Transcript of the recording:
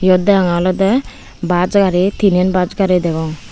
iyot degonge olede bus gari tinen bus gari degong.